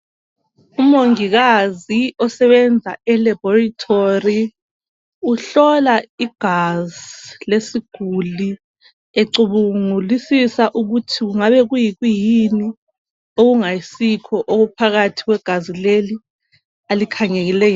Umongikazi osebenza ELaboritory uhlolwa igazi lesiguli ecubungulisisa ukuthi kungabe kuyikuyini okungayisikho okuphakathi kwegazi leli alikhangeleyo.